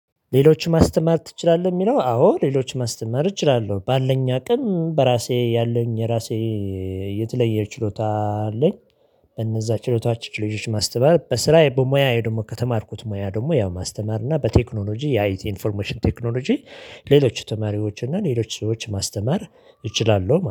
ሌሎችን ማስተማር ትችላለህ? የሚለው አዎ ሌሎችን ማስተማር እችላለሁ ባለኝ አቅም በራሴ ያለኝ የራሴ የተለየ ችሎታ አለኝ። በነዚያ ችሎታዎች ልጆች ማስተማር በስራዬ በሙያዬ ደግሞ ከተማርኩት ሙያ ደግሞ ያው ማስተማር እና በቴክኖሎጂ የአት ኢንፎርሜሽን ቴክኖሎጂ ሌሎች ተማሪዎች እና ሌሎች ሰዎች ማስተማር እችላለሁ